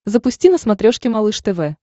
запусти на смотрешке малыш тв